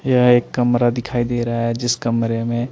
यह एक कमरा दिखाई दे रहा है जिस कमरे में--